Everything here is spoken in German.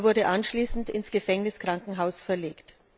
Er wurde anschließend ins Gefängniskrankenhaus verlegt.